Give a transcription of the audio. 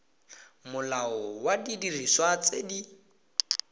molao wa didiriswa tse di